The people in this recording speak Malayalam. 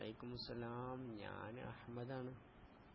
അലൈക്കു മുസലാം ഞാൻ അഹമ്മദാണ്